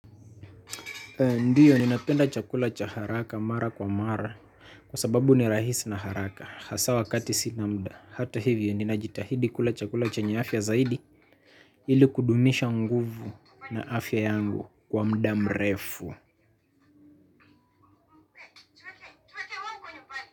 Ndiyo ninapenda chakula cha haraka mara kwa mara kwa sababu ni rahisi na haraka hasa wakati sina muda hata hivyo ninajitahidi kula chakula chenye afya zaidi ili kudumisha nguvu na afya yangu kwa muda mrefu.